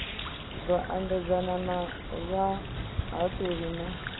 ḓo ambedzana na vhahaṱuli na